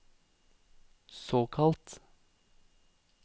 såkalt